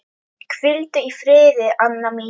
Hvíldu í friði, Anna mín.